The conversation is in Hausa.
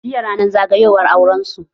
Jiya ranar zagayowar aurensu